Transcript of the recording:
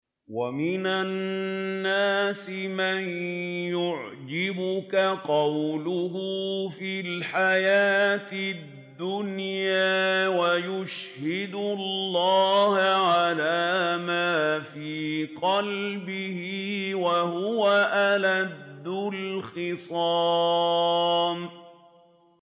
وَمِنَ النَّاسِ مَن يُعْجِبُكَ قَوْلُهُ فِي الْحَيَاةِ الدُّنْيَا وَيُشْهِدُ اللَّهَ عَلَىٰ مَا فِي قَلْبِهِ وَهُوَ أَلَدُّ الْخِصَامِ